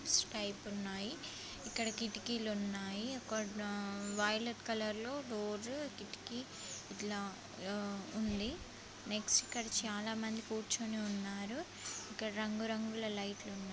స్తైప్ ఉన్నాయి. ఇక్కడ కిటికీలు ఉన్నాయి. ఒక ఆ వయొలెట్ కలర్ లో డోజు కిటికీ ఇట్లా ఆ ఉంది. నెక్స్ ఇక్కడ చాలా మంది కూర్చుని ఉన్నారు. ఇక్కడ రంగు రంగుల లైట్లు